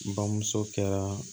Bamuso kɛra